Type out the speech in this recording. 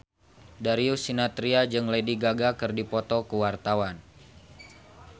Darius Sinathrya jeung Lady Gaga keur dipoto ku wartawan